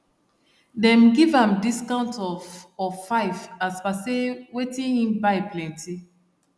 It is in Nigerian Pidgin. them give am discount of of 5 as per say wetin hin buy plenty